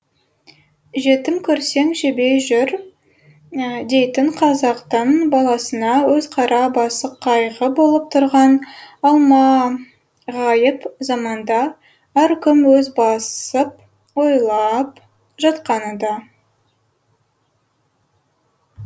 жетім көрсең жебей жүр дейтін қазақтың баласына өз қара басы қайғы болып тұрған алмағайып заманда әр кім өз басып ойлап жатқаны да